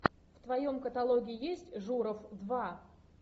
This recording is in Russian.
в твоем каталоге есть журов два